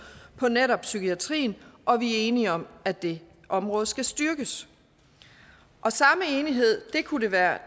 på netop psykiatrien og at vi er enige om at det område skal styrkes og samme enighed kunne det være